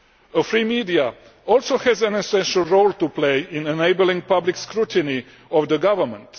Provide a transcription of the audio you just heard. A free media also has an essential role to play in enabling public scrutiny of the government.